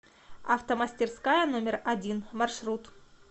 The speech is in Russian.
автомастерская номер один маршрут